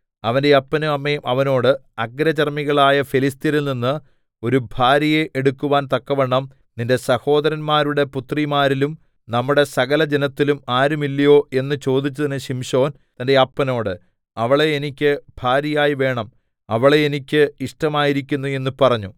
അവന്റെ അപ്പനും അമ്മയും അവനോട് അഗ്രചർമ്മികളായ ഫെലിസ്ത്യരിൽനിന്ന് ഒരു ഭാര്യയെ എടുക്കാൻ തക്കവണ്ണം നിന്റെ സഹോദരന്മാരുടെ പുത്രിമാരിലും നമ്മുടെ സകലജനത്തിലും ആരുമില്ലയോ എന്ന് ചോദിച്ചതിന് ശിംശോൻ തന്റെ അപ്പനോട് അവളെ എനിക്ക് ഭാര്യയായി വേണം അവളെ എനിക്ക് ഇഷ്ടമായിരിക്കുന്നു എന്ന് പറഞ്ഞു